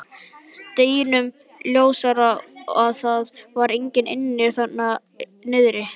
Deginum ljósara að það var enginn inni við þarna niðri.